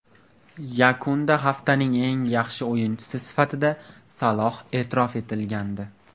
Yakunda haftaning eng yaxshi o‘yinchisi sifatida Saloh e’tirof etilgandi.